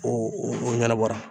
O ɲɛnabɔra